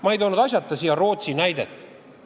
Ma ei toonud asjata Rootsi näidet.